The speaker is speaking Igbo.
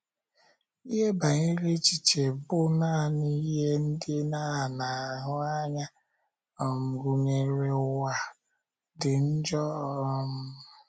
Ihe banyere echiche bụ́ na ihe ndị a na - ahụ anya um, gụnyere ụwa, dị njọ? um